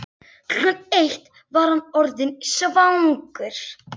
Klukkan eitt var hann orðinn svangur.